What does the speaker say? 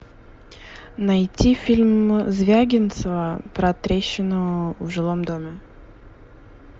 найти фильм звягинцева про трещину в жилом доме